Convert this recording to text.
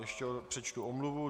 Ještě přečtu omluvu.